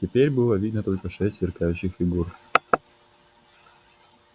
теперь было видно только шесть сверкающих фигур